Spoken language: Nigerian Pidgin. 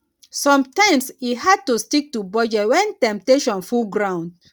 somtimes e hard to stick to budget wen temptation full ground